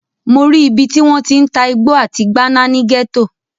Mo rí ibi tí wọ́n ti ń ta igbó àti gbáná ní gẹ́tò.